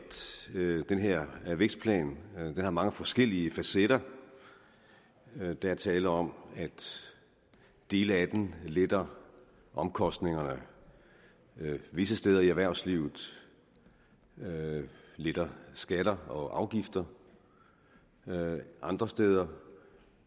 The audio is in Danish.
den her vækstplan har mange forskellige facetter der er tale om at dele af den letter omkostningerne visse steder i erhvervslivet letter skatter og afgifter andre steder